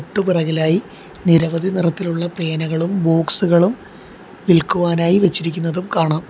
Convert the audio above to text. തൊട്ടു പിറകിലായി നിരവധി നിറത്തിലുള്ള പേനകളും ബോക്സുകളും വിൽക്കുവാനായി വച്ചിരിക്കുന്നതും കാണാം.